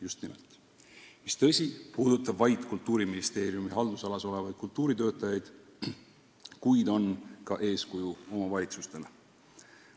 Tõsi, see puudutab vaid Kultuuriministeeriumi haldusalas olevaid kultuuritöötajaid, kuid on ka eeskuju omavalitsustele.